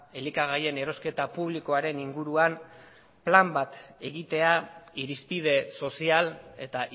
elikagaien erosketa publikoaren inguruan plan bat egitea irizpide sozial eta